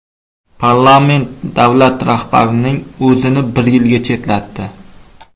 Parlament davlat rahbarining o‘zini bir yilga chetlatdi.